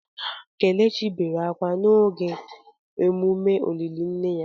Kelechi bere akwa akwa n’oge emume olili nne ya.